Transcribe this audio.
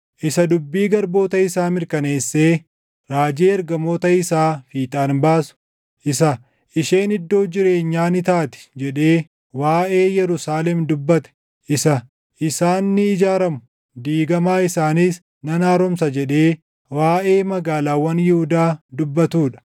isa dubbii garboota isaa mirkaneessee raajii ergamoota isaa fiixaan baasu, isa, ‘Isheen iddoo jireenyaa ni taati’ jedhee waaʼee Yerusaalem dubbate, isa, ‘Isaan ni ijaaramu, diigamaa isaaniis nan haaromsa’ jedhee waaʼee magaalaawwan Yihuudaa dubbatuu dha;